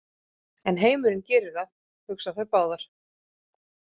En heimurinn gerir það, hugsa þær báðar.